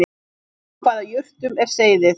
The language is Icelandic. Úr hvaða jurtum er seyðið